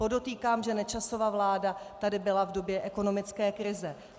Podotýkám, že Nečasova vláda tady byla v době ekonomické krize.